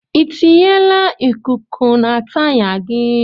Ị tiyila ikuku na taya gị?